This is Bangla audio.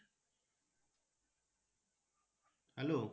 Hello